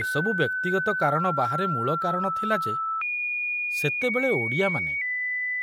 ଏସବୁ ବ୍ୟକ୍ତିଗତ କାରଣ ବାହାରେ ମୂଳ କାରଣ ଥିଲା ଯେ ସେତେବେଳେ ଓଡ଼ିଆମାନେ